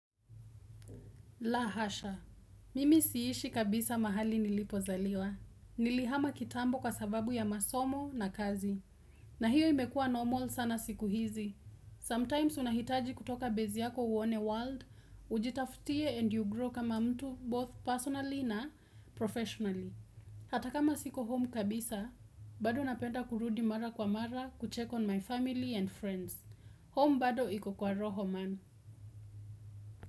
La hasha, mimi siishi kabisa mahali nilipozaliwa. Nilihama kitambo kwa sababu ya masomo na kazi. Na hiyo imekua normal sana siku hizi. Sometimes unahitaji kutoka bezi yako uone world, ujitaftie and you grow kama mtu both personally na professionally. Hatakama siko home kabisa, bado napenda kurudi mara kwa mara, kucheck on my family and friends. Home bado iko kwa roho man.